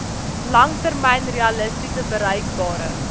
langtermyn realisties bereikbare